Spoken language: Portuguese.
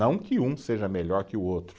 Não que um seja melhor que o outro.